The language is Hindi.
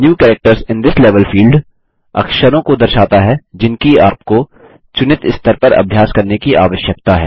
new characters in this level field अक्षरों को दर्शाता है जिनकी आपको चुनित स्तर पर अभ्यास करने की आवश्यकता है